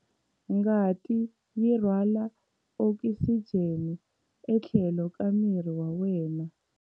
Ngati yi rhwala okisijeni etlhelo ka miri wa wena.